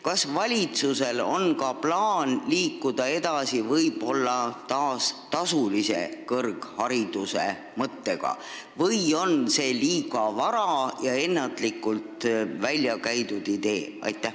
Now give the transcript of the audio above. Kas valitsusel on plaan taas edasi liikuda tasulise kõrghariduse mõttega või on see liiga vara ja ennatlikult väljakäidud idee?